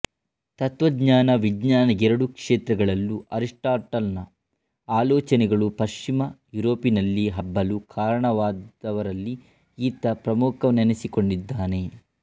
ತತ್ತ್ವಜ್ಞಾನ ವಿಜ್ಞಾನ ಎರಡು ಕ್ಷೇತ್ರಗಳಲ್ಲೂ ಅರಿಸ್ಪಾಟಲನ ಆಲೋಚನೆಗಳು ಪಶ್ಚಿಮ ಯೂರೋಪಿನಲ್ಲಿ ಹಬ್ಬಲು ಕಾರಣರಾದವರಲ್ಲಿ ಈತ ಪ್ರಮುಖನೆನ್ನಿಸಿಕೊಂಡಿದ್ದಾನೆ